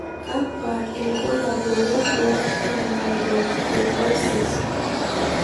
Kakwa ibulabul wonduat e Myelofibrosis?